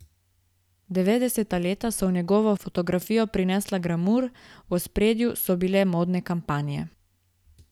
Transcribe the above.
Devetdeseta leta so v njegovo fotografijo prinesla glamur, v ospredju so bile modne kampanje.